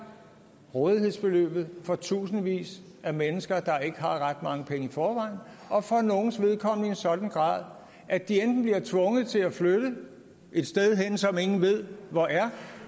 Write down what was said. rådighedsbeløbet for tusindvis af mennesker der ikke har ret mange penge i forvejen og for nogles vedkommende i en sådan grad at de enten bliver tvunget til at flytte et sted hen som ingen ved hvor er